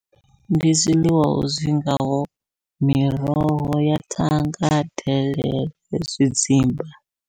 Ndi zwiḽiwa zwi ngaho miroho ya thanga, delele, zwidzimba.